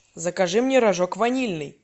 закажи мне рожок ванильный